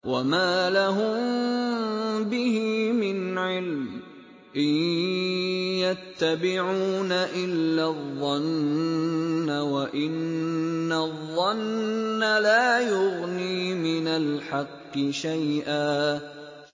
وَمَا لَهُم بِهِ مِنْ عِلْمٍ ۖ إِن يَتَّبِعُونَ إِلَّا الظَّنَّ ۖ وَإِنَّ الظَّنَّ لَا يُغْنِي مِنَ الْحَقِّ شَيْئًا